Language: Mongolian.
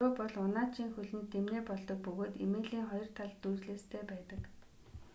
дөрөө бол унаачийн хөлөнд дэмнээ болдог бөгөөд эмээлийн хоёр талд дүүжлээстэй байдаг